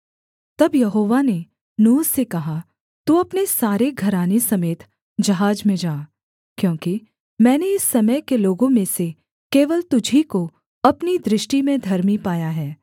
तब यहोवा ने नूह से कहा तू अपने सारे घराने समेत जहाज में जा क्योंकि मैंने इस समय के लोगों में से केवल तुझी को अपनी दृष्टि में धर्मी पाया है